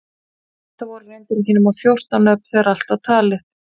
Þetta voru reyndar ekki nema fjórtán nöfn þegar allt var talið.